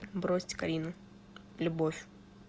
бросить карину любовь